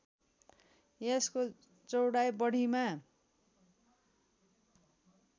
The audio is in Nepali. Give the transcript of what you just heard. यसको चौडाइ बढीमा